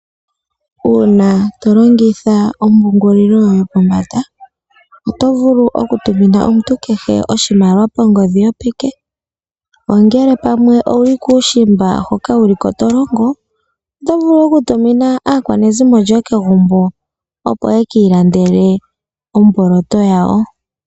Uuna to longitha ompungulilo yopombanda oto vulu okutumina omuntu kehe oshimaliwa kongodhi yopeke, ongele pamwe owu li kuushimba hoka wu li ko to longo oto vulu okutumina aakwanezimo lyoye kegumbo, opo ye ki ilandele omboloto yawo.